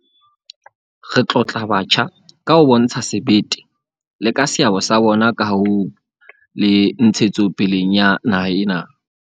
Re tlotla batjha ka ho bontsha sebete, le ka seabo sa bona kahong le ntshetsopeleng ya naha ena.